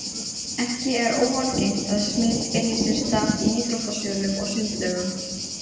Ekki er óalgengt að smit eigi sér stað í íþróttasölum og sundlaugum.